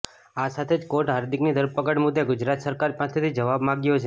આ સાથે જ કોર્ટે હાર્દિકની ધરપકડ મુદ્દે ગુજરાત સરકાર પાસેથી જવાબ માગ્યો છે